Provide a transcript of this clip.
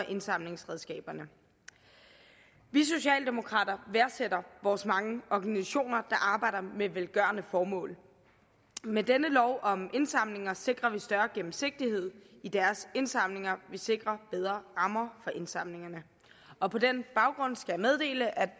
indsamlingsregnskaberne vi socialdemokrater værdsætter vores mange organisationer der arbejder med velgørende formål og med denne lov om indsamling sikrer vi større gennemsigtighed i deres indsamlinger vi sikrer bedre rammer for indsamlingerne og på den baggrund skal jeg meddele at